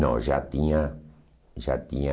Não, já tinha... Já tinha...